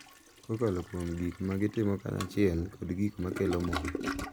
kokalo kuom gik ma gitimo kanyachiel kod gik ma kelo mor.